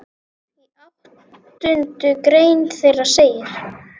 Í áttundu grein þeirra segir